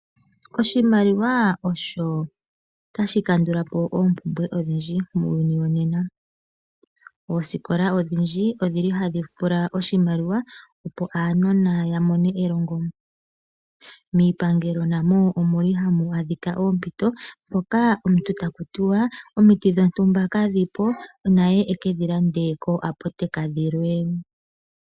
Oshimaliwa osho tashi kandula po oompumbwe odhindji muuyuni wonena. Ooskola odhindji odhi li hadhi pula oshimaliwa, opo aanona ya mone elongo, miipangelo namo omu li hamu adhika oompito mpoka omuntu taku tiwa omiti dhontumba kadhi po naye e ke dhilande kooaputeka dhilwe.